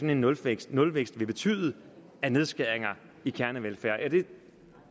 en nulvækst nulvækst vil betyde af nedskæringer i kernevelfærden